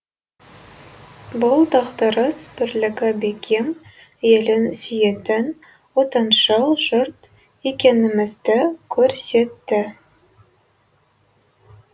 бұл дағдарыс бірлігі бекем елін сүйетін отаншыл жұрт екенімізді көрсетті